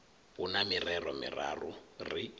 hu na mirero miraru ri